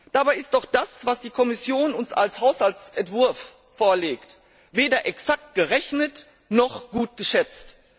Dabei ist doch das, was die Kommission uns als Haushaltsentwurf vorlegt, weder exakt gerechnet noch gut geschätzt!